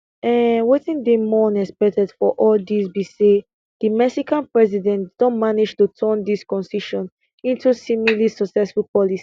um wetin dey more unexpected for all of dis be say di mexican president don manage to turn dis concessions into seemingly successful policy